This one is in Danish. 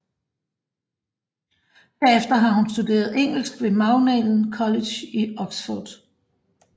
Herefter har hun studeret engelsk ved Magdalen College i Oxford